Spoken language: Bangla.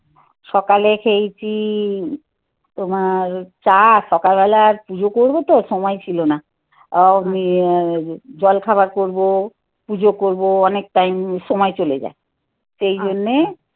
সকালে খেয়েছি. তোমার চা, সকাল বেলা আর পূজো করবো তো? সময় ছিল না উম জলখাবার করবো. পুজো করবো, অনেক টাইম সময় চলে যায়. সেইজন্যে